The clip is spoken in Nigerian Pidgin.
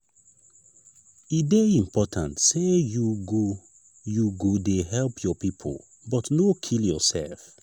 e dey important sey you go you go dey help your pipo but no kill yoursef.